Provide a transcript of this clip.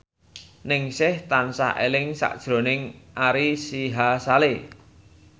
Ningsih tansah eling sakjroning Ari Sihasale